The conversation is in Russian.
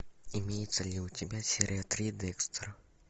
имеется ли у тебя серия три декстера